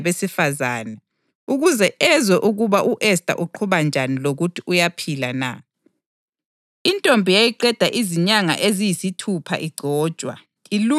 Insuku zonke uModekhayi wayehamba eduzane leguma lendlu yabesifazane ukuze ezwe ukuba u-Esta uqhuba njani lokuthi uyaphila na.